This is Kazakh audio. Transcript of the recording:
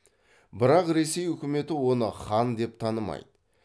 бірақ ресей өкіметі оны хан деп танымайды